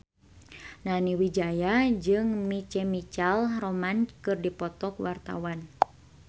Nani Wijaya jeung My Chemical Romance keur dipoto ku wartawan